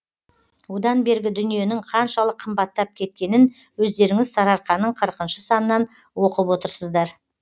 одан бергі дүниенің қаншалық қымбаттап кеткенін өздеріңіз сарыарқаның қырықыншы санынан оқып отырсыздар